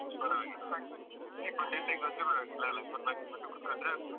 ಪರ್ವಾಗಿಲ್ವ ಇಪ್ಪತ್ತೆಂಟಕ್ಕೆ ಹೋದ್ರು ಪರ್ವಾಗಿಲ್ಲಲ್ಲ ಮೂರ್ನಾಕು ತಿಂಗ್ಳುಸ ಕೂತ್ಕೊಂಡ್ರೆ ಆಗ್ಬೋದು.